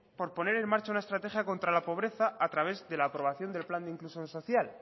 por poner en marcha una estrategia contra la pobreza a través de la aprobación del plan de inclusión social